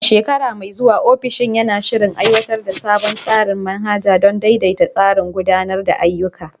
A shekara mai zuwa, ofishin na shirin aiwatar da sabon tsarin manhaja don daidaita tsarin gudanar da ayyuka.